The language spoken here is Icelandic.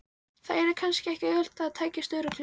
Það yrði kannski ekki auðvelt en tækist örugglega.